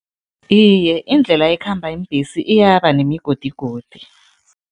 Iye, indlela ekhamba iimbhesi iyaba nemigodigodi.